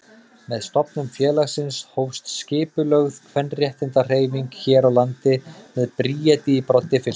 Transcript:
Með stofnun félagsins hófst skipulögð kvenréttindahreyfing hér á landi með Bríeti í broddi fylkingar.